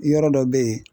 Yɔrɔ dɔ bɛ yen